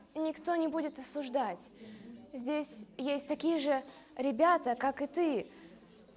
никто не будет осуждать здесь есть такие же ребята как и ты